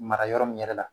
Mara yɔrɔ min yɛrɛ la